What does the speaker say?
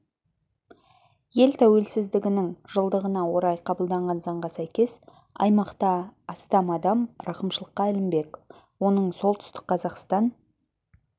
ел тәуелсіздігінің жылдығына орай қабылданған заңға сәйкес аймақта астам адам рақымшылыққа ілінбек оның солтүстік қазақстан